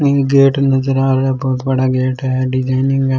gate नजर आ रहा है बहुत बड़ा गेट है डिजाइन भी --